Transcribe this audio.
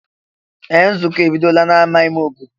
Ee! Nzukọ a ebidola n'ámá ime obodo.